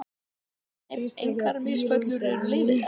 Nei, engar misfellur eru leyfilegar.